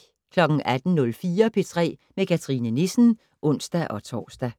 18:04: P3 med Cathrine Nissen (ons-tor)